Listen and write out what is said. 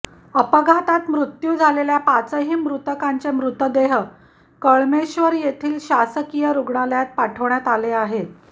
अपघातात मृत्यू झालेल्या पाचही मृतकांचे मृतदेह कळमेश्वर येथील शासकीय रुग्णालयात पाठवण्यात आले आहेत